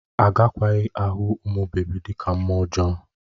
Agakwaghị ahụ ụmụ bebi dị ka mmụọ ọjọọ